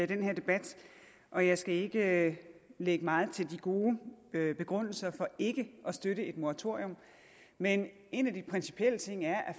den her debat og jeg skal ikke lægge meget til de gode begrundelser for ikke at støtte et moratorium men en af de principielle ting er at